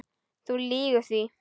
Þú lýgur því